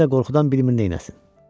Leni də qorxudan bilmir neyləsin.